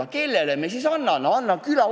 Aga kellele teisele me selle ülesande siis anname?